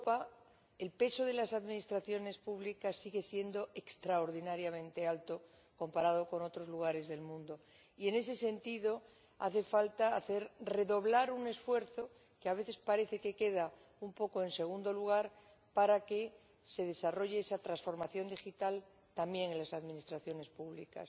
En Europa, el peso de las administraciones públicas sigue siendo extraordinariamente alto comparado con otros lugares del mundo y, en ese sentido, hace falta redoblar un esfuerzo, que a veces parece que queda un poco en segundo lugar, para que se desarrolle esa transformación digital también en las administraciones públicas.